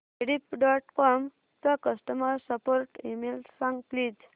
Rediff dot com चा customer support email सांग please